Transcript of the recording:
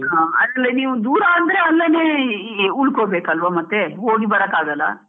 ಹಾ, ಅಲ್ಲೇ ನೀವು ದೂರ ಅಂದ್ರೆ ಅಲ್ಲೇನೇ ಉಳ್ಕೊಬೇಕು ಅಲ್ವಾ ಮತ್ತೆ ಹೋಗಿ ಬರೋಕ್ ಆಗೋಲ್ಲ.